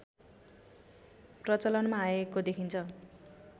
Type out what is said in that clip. प्रचलनमा आएको देखिन्छ